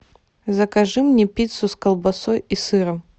закажи мне пиццу с колбасой и сыром